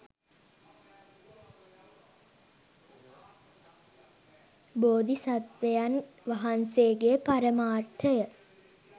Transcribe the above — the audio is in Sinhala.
බෝධි සත්වයන් වහන්සේගේ පරමාර්ථය